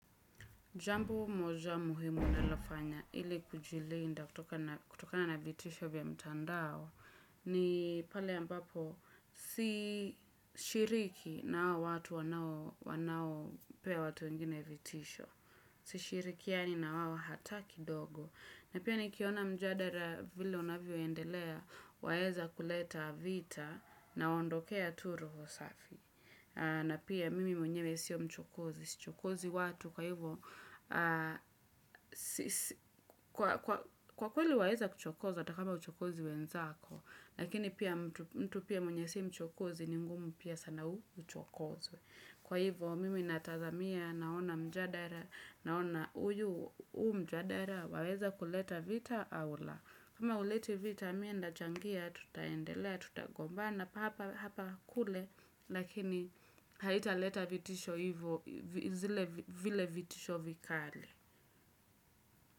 Jambo moja muhimu ninalofanya ili kujilinda kutokana vitisho vya mtandao ni pale ambapo si shiriki na hawa watu wanaopea watu wengine vitisho. Sishirikiani na wao hata kidogo. Na pia nikiona mjadala vile unavyoendelea waeza kuleta vita nawaondokea tu roho safi. Na pia mimi mwenyewe sio mchokozi, sichokozi watu, kwa hivyo, kwa kweli waeza kuchokoza, hatakama huchokozi wenzako, lakini pia mtu pia mwenye si mchokozi, ni ngumu pia sana uchokozwe. Kwa hivyo, mimi natazamia naona mjadala, naona uyu mjadala, waweza kuleta vita au la. Kama huleti vita, mie nitachangia, tutaendelea, tutagombana, hapa kule, lakini haitaleta vitisho hivyo, zile vitisho vikali.